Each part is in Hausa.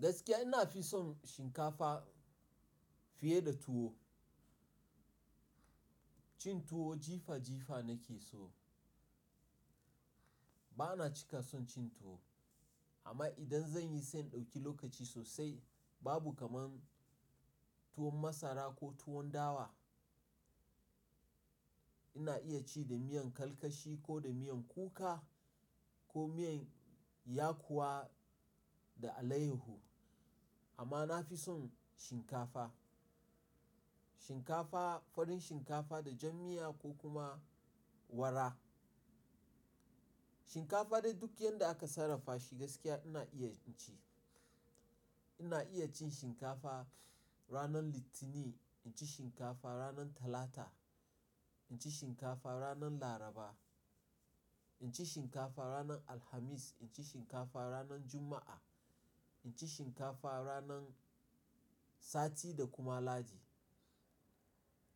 Gaskiya ina fi son shinkafa fiye da tuwo. Cin tuwo jifa jifa na ke so. Bana cika son cin tuwo amma idan zan yi sai in ɗauki lokaci sosai. Babu kamar tuwon masara ko tuwon dawa. Ina iya ci da miyan karkashi ko da miyan kuka ko miyan yakuwa da alayaho amma na fi son shinkafa. Shinkafa, farin shinkafa da jan miya ko kuma wara. Shinkafa dai duk yadda aka sarrafa shi gaskiya ina iya cin shi. Ina iya cin shinkafa ranar Litinin, inci shinkafa ranar Talata, inci shinkafa ranar Laraba, inci shinkafa ranar Alhamis, inci shinkafa ranar Juma'a, inci shinkafa ranar Sati da kuma Ladi.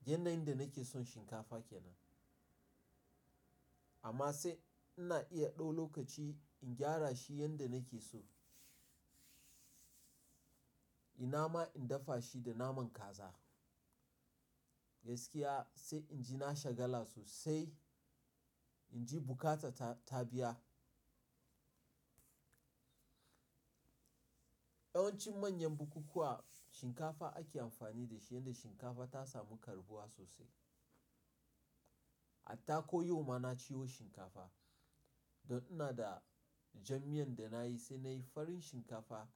Yanayin da na ke son shinkafa kenan. Amma sai ina iya ɗau lokaci in gyara shi yanda nake so. Ina ma in dafa shi da naman kaza. Gaskiya sai inji na shagala sosai, inji bukata ta tabiya. Yawanci manyan bukukkuwa shinkafa ake amfani da shi yanda shinkafa ta samu karbuwa sosai. Hatta ko yau ma na ciwo shinkafa don ina da jan miyan da nayi sai nayi farin shinkafa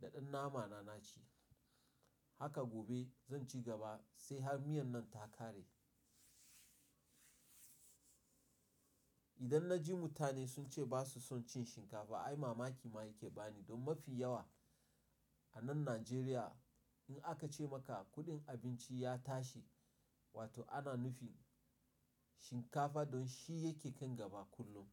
da ɗan nama na naci. Haka gobe zan ci gaba sai har miyan nan ta ƙare. Idan na ji mutane sun ce ba su son cin shinkafa ai mamaki ma yake bani. Don mafi yawa a nan Najeriya in aka ce maka kuɗin abinci ya tashi wato ana nufin shinkafa don shi yake kan gaba kullum.